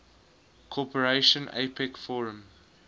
cooperation apec forum